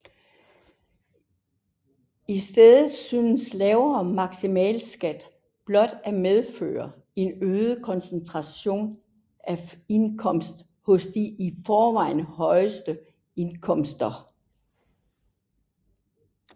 I stedet synes lavere maksimalskat blot at medføre en øget koncentration af indkomst hos de i forvejen højeste indkomster